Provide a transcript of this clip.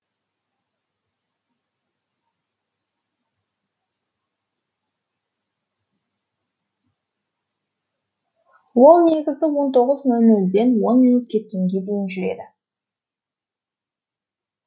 ол негізі он тоғыз нөл нөлден он минут кеткенге дейін жүреді